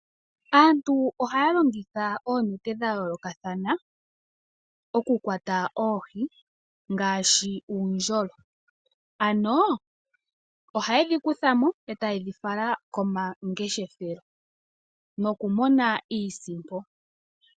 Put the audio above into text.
Aantu ohaya longitha oonete dha yoolokathana oku kwata oohi, ngaashi uundjolo. Ano ohaye dhi kuthamo eta ye dhi fala komangeshelo noku mona oonsipo